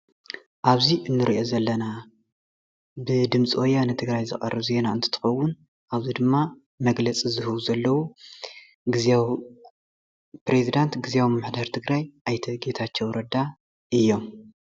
ኣብዚ እንሪኦ ዘለና ብ ድምፂወያነ ትግራይ ዝቐርብ ዜና እንትትኽውን አብዚ ድማ መግለፂ ዝለው ግዚያዊ ፕረዚደንት ግዝያዊ ምምሕዳር ትግራይ ኣይተ ጌታቸው ረዳ እዮም።